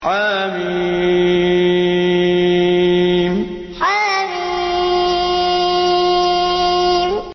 حم حم